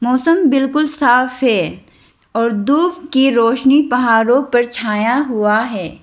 मौसम बिल्कुल साफ है और धूप की रोशनी पहाड़ों पर छाया हुआ है।